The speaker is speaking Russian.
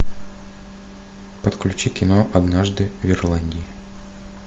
подключи кино однажды в ирландии